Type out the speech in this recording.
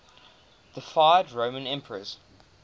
deified roman emperors